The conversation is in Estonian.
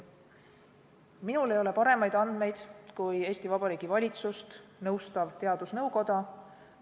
Minul ei ole paremaid andmeid kui Eesti Vabariigi valitsust nõustaval teadusnõukojal.